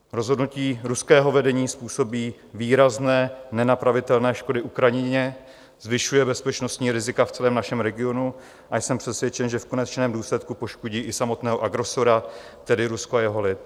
Rozhodnutí ruského vedení způsobí výrazné, nenapravitelné škody Ukrajině, zvyšuje bezpečnostní rizika v celém našem regionu a jsem přesvědčen, že v konečném důsledku poškodí i samotného agresora, tedy Rusko a jeho lid.